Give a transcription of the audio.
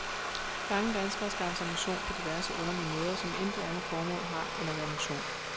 Mange danskere skaffer sig motion på diverse underlige måder, som intet andet formål har end at være motion.